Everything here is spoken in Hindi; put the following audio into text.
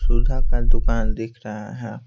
सुधा का दुकान दिख रहा है।